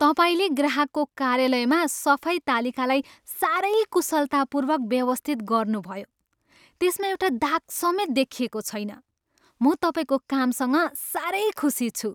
तपाईँले ग्राहकको कार्यालयमा सफाई तालिकालाई साह्रै कुशलतापूर्वक व्यवस्थित गर्नुभयो। त्यसमा एउटा दाग समेत देखिएको छैन। म तपाईँको कामसँग साह्रै खुसी छु।